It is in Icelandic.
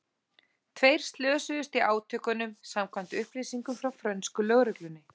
Tveir slösuðust í átökunum samkvæmt upplýsingum frá frönsku lögreglunni.